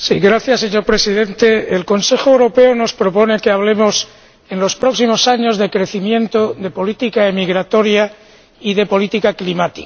Señor Presidente, el Consejo Europeo nos propone que hablemos en los próximos años de crecimiento, de política emigratoria y de política climática.